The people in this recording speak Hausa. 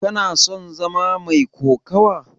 Kana son zama mai kokawa?